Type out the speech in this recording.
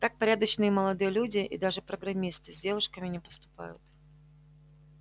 так порядочные молодые люди и даже программисты с девушками не поступают